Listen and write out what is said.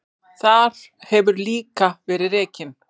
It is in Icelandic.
Þar hefur líka verið rekin